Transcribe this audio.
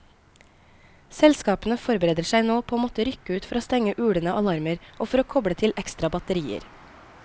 Selskapene forbereder seg nå på å måtte rykke ut for å stenge ulende alarmer, og for å koble til ekstra batterier.